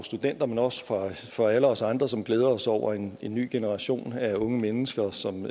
studenter men også for for alle os andre som glæder os over en ny generation af unge mennesker som